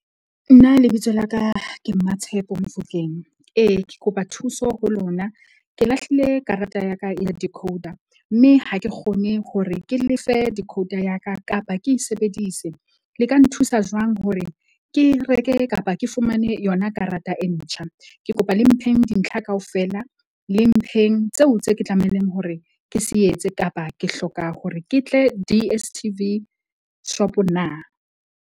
Nna lebitso la ka ke Mmatshepo Mofokeng. Ee, ke kopa thuso ho lona, ke lahlile karata ya ka ya decoder. Mme ha ke kgone hore ke lefe decoder ya ka, kapa ke e sebedise. Le ka nthusa jwang hore ke reke kapa ke fumane yona karata e ntjha? Ke kopa le mpheng dintlha kaofela, le mpheng tseo tse ke tlamehileng hore ke se etse, kapa ke hloka hore ke tle D_S_T_V shop-o na?